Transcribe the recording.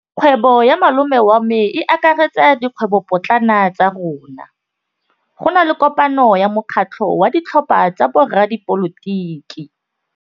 Kgwêbô ya malome wa me e akaretsa dikgwêbôpotlana tsa rona. Go na le kopanô ya mokgatlhô wa ditlhopha tsa boradipolotiki.